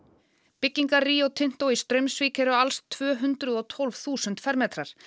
byggingar Rinto Tinto í Straumsvík eru alls tvö hundruð og tólf þúsund fermetrar